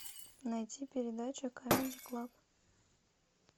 найти передачу камеди клаб